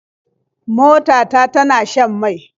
Mota ta tana shan mai.